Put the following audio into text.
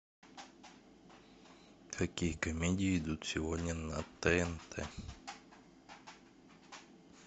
какие комедии идут сегодня на тнт